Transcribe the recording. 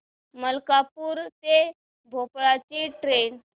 मलकापूर ते भोपाळ ची ट्रेन